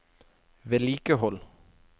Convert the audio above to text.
vedlikehold